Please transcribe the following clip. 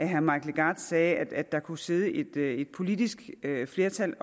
herre mike legarth sagde at der kunne sidde et politisk flertal